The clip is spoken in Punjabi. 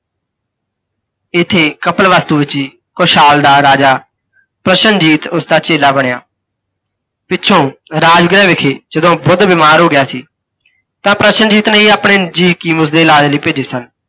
ਤੇ ਇੱਥੇ ਕਪਿਲਵਾਸਤੂ ਵਿੱਚ ਹੀ ਕੌਸ਼ਾਲ ਦ ਰਾਜਾ, ਪ੍ਰਸ਼ਨਜੀਤ ਉਸਦਾ ਚੇਲਾ ਬਣਿਆ। ਪਿੱਛੋਂ, ਰਾਜਗ੍ਹਹਿ ਵਿੱਖੇ ਜਦੋਂ ਬੁੱਧ ਬਿਮਾਰ ਹੋ ਗਿਆ ਸੀ ਤਾਂ ਪ੍ਰਸ਼ਨਜੀਤ ਨੇ ਹੀ ਆਪਣੇ ਜੀਅ ਹਕੀਮ ਉਸਦੇ ਇਲਾਜ ਲਈ ਭੇਜੇ ਸਨ।